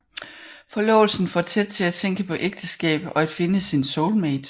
Forlovelsen får Ted til at tænke på ægteskab og at finde sin soulmate